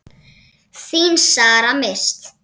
Þín Sara Mist.